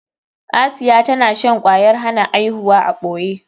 Asiya tana shan kwayar hana aihuwa a ɓoye.